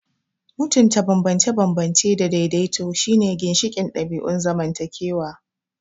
Mutunta bambance-bambance da daidaito shine ginshiƙin ɗabi'un zamantakewa.